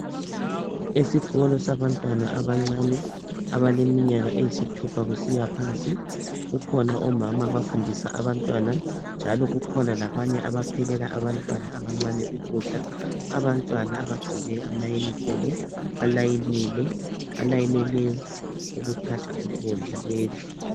Esikolo sabantwana abancane abaleminyaka eyisithupha kusiya phansi. Kukhona omama abafundisa abantwana njalo kukhona labanye abaphekela abantwana abancane ukudla. Abantwana bagqoke amayunifomu balayinile, balayinele ukuthatha ukudla bedle.